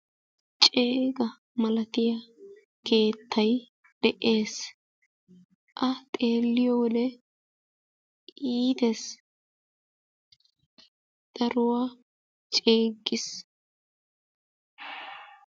Ceega maalatiiyaa keettay de'ees; A xeeliyoode iitees, daruuwaa ceggiis.